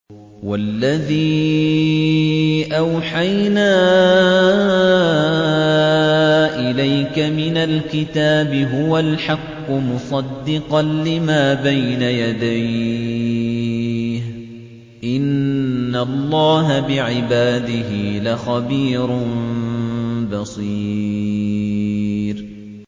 وَالَّذِي أَوْحَيْنَا إِلَيْكَ مِنَ الْكِتَابِ هُوَ الْحَقُّ مُصَدِّقًا لِّمَا بَيْنَ يَدَيْهِ ۗ إِنَّ اللَّهَ بِعِبَادِهِ لَخَبِيرٌ بَصِيرٌ